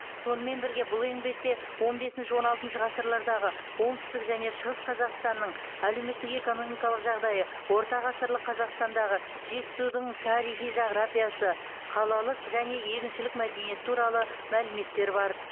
сонымен бірге бұл еңбекте он бесінші он алтыншы ғасырлардағы оңтүстік және шығыс қазақстанның әлеуметтік экономикалық жағдайы орта ғасырлық қазақстандағы жетісудің тарихи жағрапиясы қалалық және егіншілік мәдениеті туралы мәліметтер бар